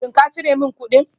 Shin ka cire min kuɗin?